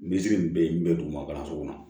Misi min bɛ yen n bɛ duguma kalanso kɔnɔ